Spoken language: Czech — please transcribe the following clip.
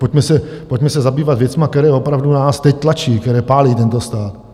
Pojďme se zabývat věcmi, které opravdu nás teď tlačí, které pálí tento stát.